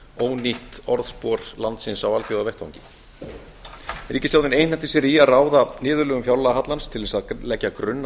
ónýtt orðspor landsins á alþjóðavettvangi ríkisstjórnin einhenti sér í að ráða niðurlögum fjárlagahallans til þess að leggja grunn